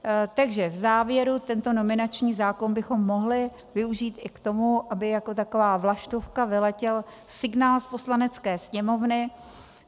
Takže v závěru, tento nominační zákon bychom mohli využít i k tomu, aby jako taková vlaštovka vyletěl signál z Poslanecké sněmovny.